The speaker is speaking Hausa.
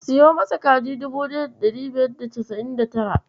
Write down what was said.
Siyo masa kaji dubu ɗaya da ɗari biyar da casa'in da tara.